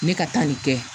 Ne ka taa nin kɛ